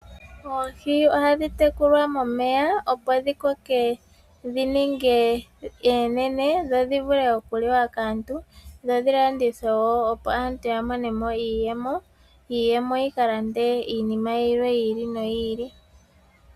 Oohi oha dhi tekulwa momeya opo dhi koke dhi ninge oonene dho dhi vule okuliwa kaantu dho dhi landithwewo aantu ya monemo iiyemo, iiyemo yi kalande iinima yiili no yiili.